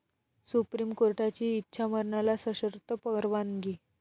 supreme कोर्टाची इच्छामरणाला सशर्त परवानगी